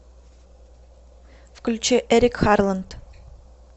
включи эрик харланд